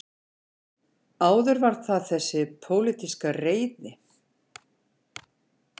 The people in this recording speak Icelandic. Áður var það þessi pólitíska reiði